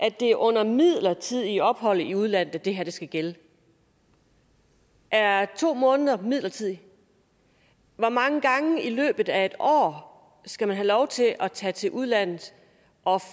at det er under midlertidigt ophold i udlandet at det her skal gælde er to måneder midlertidigt hvor mange gange i løbet af et år skal man have lov til at tage til udlandet og